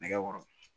Nɛgɛ kɔrɔ